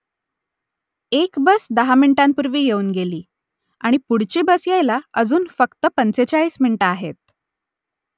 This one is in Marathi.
एक बस दहा मिनिटांपूर्वी येऊन गेली आणि पुढची बस यायला अजून फक्त पंचेचाळीस मिनिटं आहेत